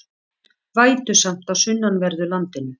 Vætusamt á sunnanverðu landinu